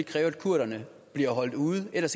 kræve at kurderne bliver holdt ude ellers